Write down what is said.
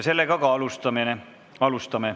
Sellega ka alustame.